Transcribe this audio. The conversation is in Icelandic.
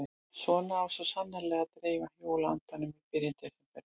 Svona á svo sannarlega að dreifa jóla-andanum í byrjun desember.